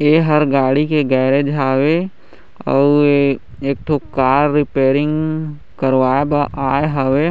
ये हर गाड़ी का गैरेज हवे अउ ये एक ठो कार रीपेयरिंग करवाए बर आए हवे